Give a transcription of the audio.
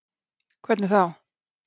Fréttamaður: Hvernig þá?